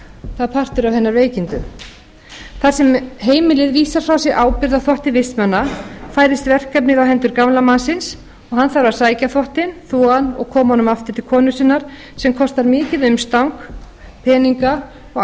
það er partur af hennar veikindum þar sem heimilið vísar frá sér ábyrgð á þvotti vistmanna færist verkefnið á hendur gamla mannsins hann að sækja þvottinn þvo hann og koma honum aftur til konu sinnar sem kostar mikið umstang peninga og